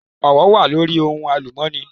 Owó wà lórí ohun àlùmọ́nì.